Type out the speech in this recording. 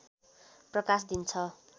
प्रकाश दिन्छ